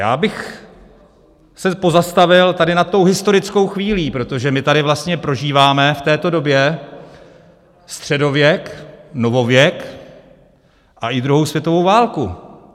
Já bych se pozastavil tady nad tou historickou chvílí, protože my tady vlastně prožíváme v této době středověk, novověk a i druhou světovou válku.